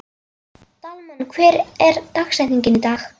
Dalmann, hver er dagsetningin í dag?